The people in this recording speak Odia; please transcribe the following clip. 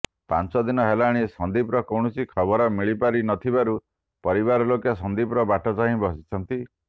ପାଞ୍ଚ ଦିନ ହେଲାଣି ସନ୍ଦୀପର କୌଣସି ଖବର ମିଳିପାରି ନଥିବାରୁ ପରିବାର ଲୋକ ସନ୍ଦୀପର ବାଟ ଚାହିଁ ବସିଛନ୍ତି